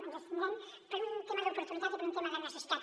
ens abstindrem per un tema d’oportunitat i per un tema de necessitat